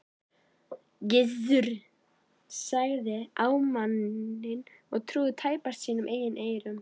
Gizur starði á manninn og trúði tæpast sínum eigin eyrum.